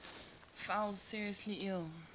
fell seriously ill